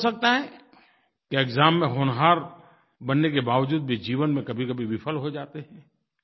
तो हो सकता है कि एक्साम में होनहार बनने के बावजूद भी जीवन में कभीकभी विफल हो जाते हैं